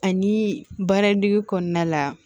Ani baaradege kɔnɔna la